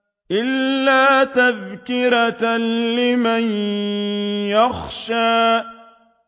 إِلَّا تَذْكِرَةً لِّمَن يَخْشَىٰ